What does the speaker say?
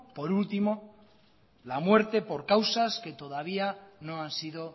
por último la muerte por causas que todavía no han sido